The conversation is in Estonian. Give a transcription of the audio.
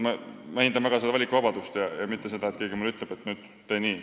Ma hindan väga seda valikuvabadust, mitte seda, et keegi ütleb mulle, et tee nüüd nii.